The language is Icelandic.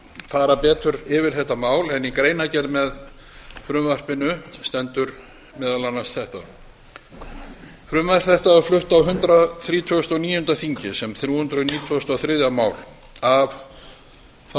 fara betur yfir þetta mál en í greinargerð með frumvarpinu stendur meðal annars þetta frumvarp þetta var áður flutt á hundrað þrítugasta og níunda þingi þá